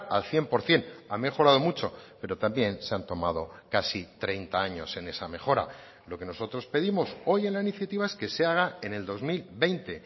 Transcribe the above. al cien por ciento ha mejorado mucho pero también se han tomado casi treinta años en esa mejora lo que nosotros pedimos hoy en la iniciativa es que se haga en el dos mil veinte